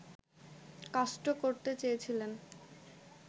caste করতে চেয়েছিলেন